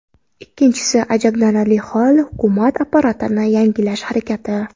Ikkinchi ajablanarli hol, hukumat apparatini yangilash harakati.